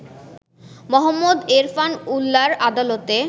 মোহাম্মদ এরফান উল্লাহ'র আদালতে